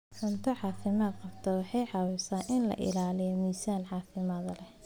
Cunto caafimaad qabta waxay caawisaa in la ilaaliyo miisaan caafimaad leh.